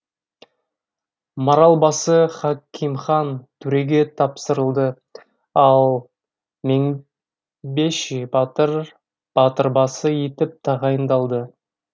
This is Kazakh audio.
маралбасы хакимхан төреге тапсырылды ал мыңбеши батыр батырбасы етіп тағайындалды